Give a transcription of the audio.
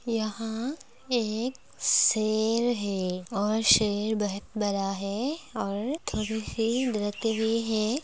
यहाँ एक सेर है और सेर बहुत बड़ा है|